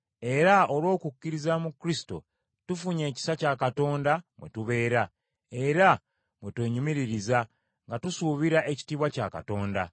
era olw’okukkiriza mu Kristo tufunye ekisa kya Katonda mwe tubeera, era mwe twenyumiririza, nga tusuubira ekitiibwa kya Katonda.